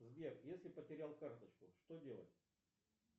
сбер если потерял карточку что делать